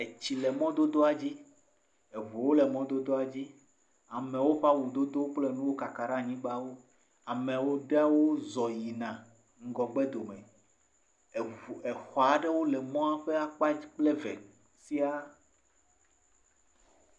Etsi le mɔdodoa dzi, eŋuwo le mɔdodoa dzi, amewo ƒe awu dodo kple nuwo kaka ɖe anyigbawo, amewo..ɖewo zɔ yina ŋgɔgbe dome, exɔ aɖewo le mɔa ƒe akpa dzi kple eve siaa.